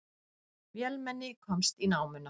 Vélmenni komst í námuna